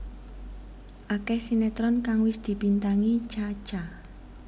Akeh sinetron kang wis dibintangi Cha Cha